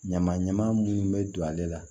Ɲama ɲama munnu be don ale la